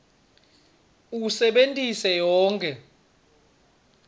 usebentise yonkhe